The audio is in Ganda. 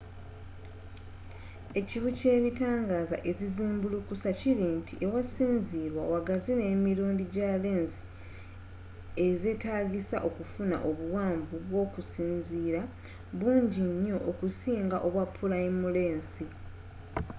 ekibi kyebitangaaza ezizimbulukusa kiri nti awasinzirwa wagaziwa n' emirundi gya lensi ez'etagisa okufuna obuwanvu bwokusinziira bungi nyo okusinga obwa pulayimu lensi